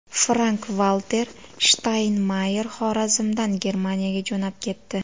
Frank-Valter Shtaynmayer Xorazmdan Germaniyaga jo‘nab ketdi.